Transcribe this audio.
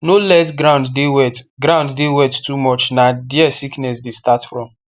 no let ground dey wet ground dey wet too much na there sickness dey start from